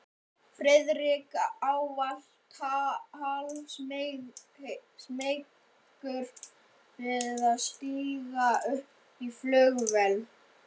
Friðrik ávallt hálfsmeykur við að stíga upp í flugvél.